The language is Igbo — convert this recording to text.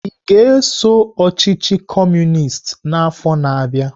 Ị ga-eso ọchịchị Kọmunist n'afọ na-abịa?